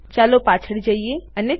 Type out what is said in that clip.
ચાલો પાછળ જઈએ અને ચકાસીએ